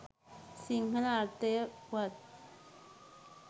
සිංහල අර්ථය වුවත්